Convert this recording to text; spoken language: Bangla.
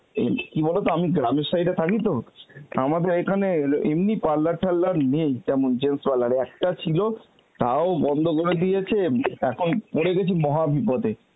কী বলতো আমি গ্রামের side এ থাকি তো আমাদের এইখানে এল~ এমনি parlour ঠারলার নেই তেমন একটা ছিল তাও বন্ধ করে দিয়েছে এখন পড়ে গেছি মহাবিপদে.